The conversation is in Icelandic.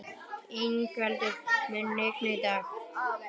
Yngveldur, mun rigna í dag?